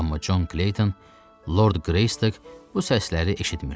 Amma Con Kleyton, Lord Qreystok bu səsləri eşitmirdi.